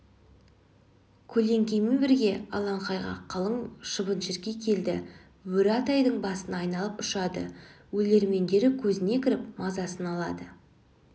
көлеңкемен бірге алаңқайға қалың шыбын-шіркей келді бөрі атайдың басын айналып ұшады өлермендері көзіне кіріп мазасын алды